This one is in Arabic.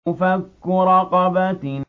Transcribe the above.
فَكُّ رَقَبَةٍ